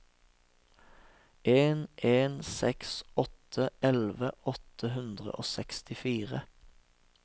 en en seks åtte elleve åtte hundre og sekstifire